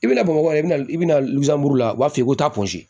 I bɛna bamakɔ de bɛna i bɛna a b'a f'i ye ko taa ponsi